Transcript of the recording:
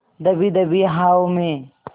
दबी दबी आहों में